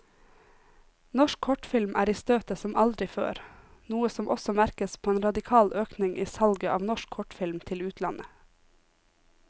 Norsk kortfilm er i støtet som aldri før, noe som også merkes på en radikal økning i salget av norsk kortfilm til utlandet.